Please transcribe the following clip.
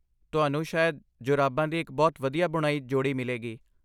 ਤੁਹਾਨੂੰ ਸ਼ਾਇਦ ਜੁਰਾਬਾਂ ਦੀ ਇੱਕ ਬਹੁਤ ਵਧੀਆ ਬੁਣਾਈ ਜੋੜੀ ਮਿਲੇਗੀ।